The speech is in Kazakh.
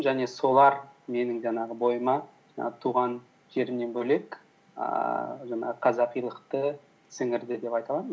және солар менің жаңағы бойыма жаңағы туған жерімнен бөлек ііі жаңағы қазақилықты сіңірді деп айта аламын